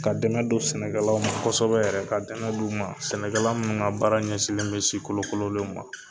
Ka dɛmɛ don sɛnɛkɛlaw ma kosɛbɛ yɛrɛ. Ka dɛmɛ d'u ma. Sɛnɛkɛla minnu ka baara ɲɛsinnen bɛ si kolokololenw ma.